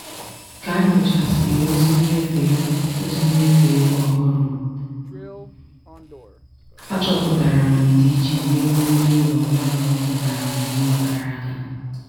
ka m nyochasịrị ozi mmefu ego ozi mmefu ego ọhụrụ m achọpụtara m ndịiche n'ego ndị ụlọ mmanụ ọkụ nara m n'ọnwa gara aga.